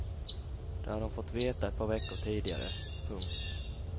Det hade hon fått veta ett par veckor tidigare. punkt